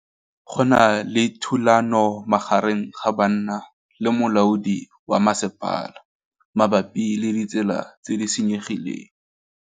Go na le thulanô magareng ga banna le molaodi wa masepala mabapi le ditsela tse di senyegileng.